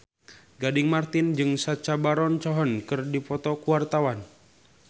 Gading Marten jeung Sacha Baron Cohen keur dipoto ku wartawan